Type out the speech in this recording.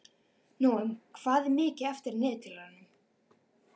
Nóam, hvað er mikið eftir af niðurteljaranum?